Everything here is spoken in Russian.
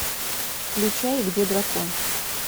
включай где дракон